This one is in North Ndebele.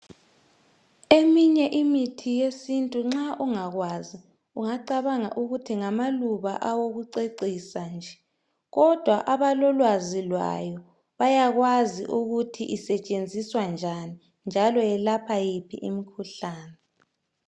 Eminye imithi yesintu nxa ungakwazi, ungacabanga ukuthi ngamaluba awokucecisa nje, kodwa abalolwazi lwayo bayakwazi kuthi isetshenziswa njani, njalo yelapha yiphi imikhuhlane.